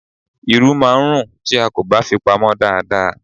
Irú máà ń rún tí a kò bá fi pamô dada.